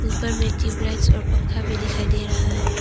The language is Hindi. ऊपर में ट्यूबलाइट और पंखा भी दिखाई दे रहा है।